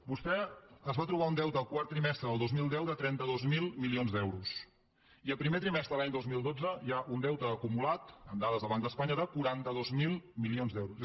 vostè es va trobar un deute el quart trimestre del dos mil deu de trenta dos mil milions d’euros i el primer trimestre de l’any dos mil dotze hi ha un deute acumulat amb dades del banc d’espanya de quaranta dos mil milions d’euros